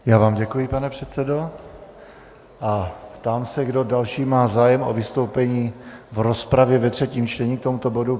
Já vám děkuji, pane předsedo, a ptám se, kdo další má zájem o vystoupení v rozpravě ve třetím čtení k tomuto bodu.